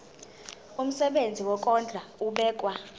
umsebenzi wokondla ubekwa